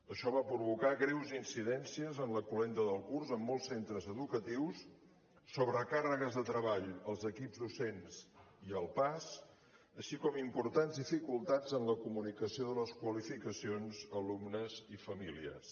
això va provocar greus incidències en la cloenda del curs en molts centres educatius sobrecàrregues de treball als equips docents i al pas així com importants dificultats en la comunicació de les qualificacions a alumnes i famílies